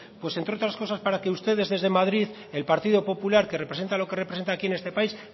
pues entre otras cosas para que ustedes desde madrid el partido popular que representa lo que representa aquí en este país